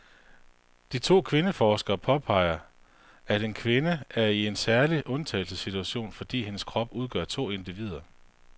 De to kvindeforskere påpeger, at en gravid kvinde er i en særlig undtagelsessituation, fordi hendes krop udgør to individer.